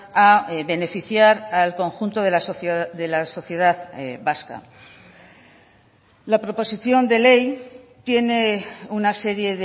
a beneficiar al conjunto de la sociedad vasca la proposición de ley tiene una serie